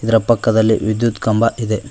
ಇದರ ಪಕ್ಕದಲ್ಲಿ ವಿದ್ಯುತ್ ಕಂಬ ಇದೆ.